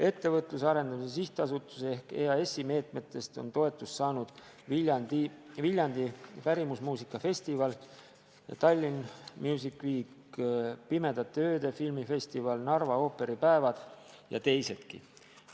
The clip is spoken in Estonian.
Ettevõtluse Arendamise Sihtasutuse ehk EAS-i meetmetest on toetust saanud Viljandi pärimusmuusika festival, Tallinn Music Week, Pimedate Ööde filmifestival, Narva ooperipäevad ja teisedki.